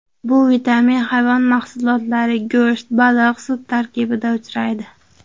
Bu vitamin hayvon mahsulotlari: go‘sht, baliq, sut tarkibida uchraydi.